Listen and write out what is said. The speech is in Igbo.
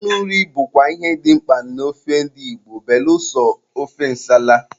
Mmanụ nri bụkwa ihe dị mkpa na ofe ndi Igbo niile belụsọ ofe ǹsàlà.